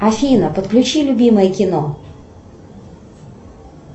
афина подключи любимое кино